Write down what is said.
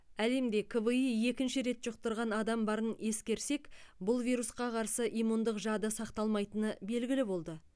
әлемде кви екінші рет жұқтырған адам барын ескерсек бұл вирусқа қарсы иммундық жады сақталмайтыны белгілі болды